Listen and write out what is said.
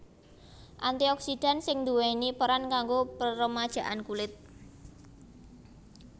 Anti oksidan sing nduwèni peran kanggo peremajaan kulit